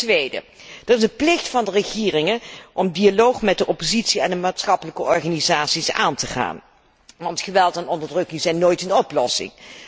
Ten tweede is er een plicht van de regeringen om de dialoog met de oppositie en de maatschappelijke organisaties aan te gaan, want geweld en onderdrukking zijn nooit een oplossing.